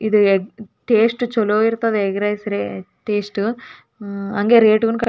ಇದು ಸಣ್ಣ ಮಟ್ಟದು ಒಂದು ಹೋಟೆಲ್ ಇದ್ದಹಂಗ ಸಣ್ಣದ ಸಣ್ಣ ಪುಟ್ಟದು ಊರಾಗ್ ಇದ್ದಂತಾದ. ನಮ್ಮೂರಾಗು ಒಂದ ಅದ.